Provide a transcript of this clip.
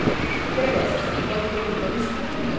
Não interessa, você não pode ter compromisso com ninguém.